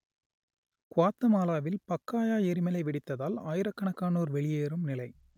குவாத்தமாலாவில் Pacaya எரிமலை வெடித்ததால் ஆயிரக்கணக்கானோர் வெளியேறும் நிலை